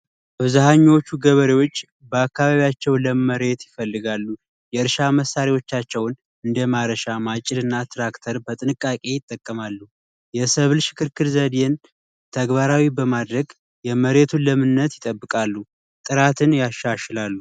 ገበሬዎች በአካባቢያቸው ለመሬት ይፈልጋሉ የእርሻ መሳሪያዎቻቸውን እንደ ማጭድ እና ማረሻ ትራክተር በጥንቃቄ ይጠቀማሉ የሰብል ሽክርክር ዘዴን ተግባራዊ በማድረግ የመሬቱን ለምነት ይጠብቃሉ። ጥራትን ያሻሽላሉ።